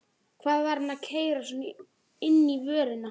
Hvað var hann að keyra svona inn í vörnina?